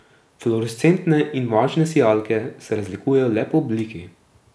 Fluorescentne in varčne sijalke se razlikujejo le po obliki.